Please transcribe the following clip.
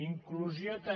inclusió també